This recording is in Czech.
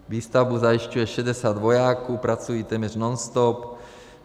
Výstavbu zajišťuje 60 vojáků, pracují téměř nonstop.